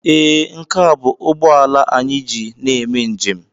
Ee, nke a bụ ụgbọ ala anyị na-eme njem.